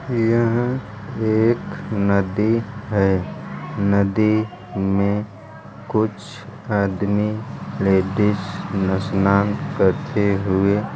यहाँ एक नदी है। नदी में कुछ आदमी लेडीज स्नान करते हुए --